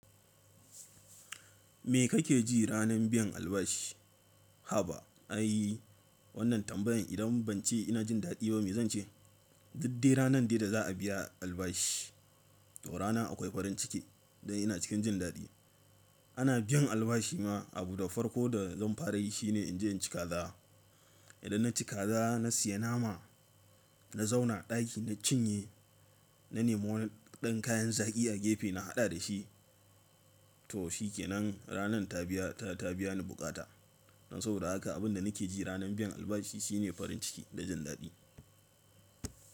Me kake ji ranar biyan albashi? Haba ai wannan tambayan idan ban ce ina jin daɗi ba me zance? Diddai ranar dai da za a biya albashi to rana akwai farin ciki dan ina cikin jin daɗi. Ana biyan albashi ma abu da farko da zan fara yi shine in je in ci kaza. Idan na ci kaza na siya nama, na zauna a ɗaki na cinye, na nemo waɗannan kayan zaki a gefe na haɗa da shi. To shikenan ranan ta biya ta biya ni bukata. Don saboda haka abin da nake ji ranar biyan albashi shine farin ciki da jin daɗi.